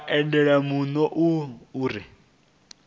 vha odele muno u re